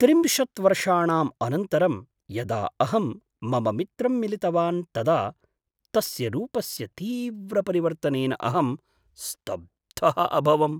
त्रिंशत् वर्षाणाम् अनन्तरं यदा अहं मम मित्रं मिलितवान् तदा तस्य रूपस्य तीव्रपरिवर्तनेन अहं स्तब्धः अभवम्।